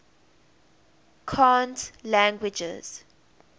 cant languages